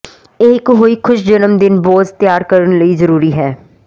ਇਹ ਇੱਕ ਹੋਈ ਖੁਸ਼ ਜਨਮ ਦਿਨ ਬੌਸ ਤਿਆਰ ਕਰਨ ਲਈ ਜ਼ਰੂਰੀ ਹੈ